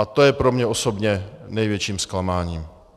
A to je pro mě osobně největším zklamáním